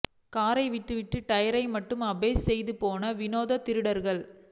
காரை விட்டுவிட்டு டயரை மட்டும் அபேஸ் செய்து போன விநோத திருடர்கள்